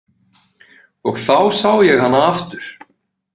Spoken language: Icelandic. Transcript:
Og þá sá ég hana aftur.